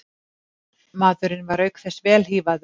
Maðurinn var auk þess vel hífaður